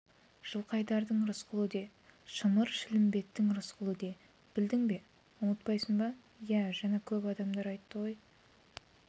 жылқайдардың рысқұлы де шымыр-шілмембеттің рысқұлы де білдің бе ұмытпайсың ба иә жаңа көп адамдар айтты той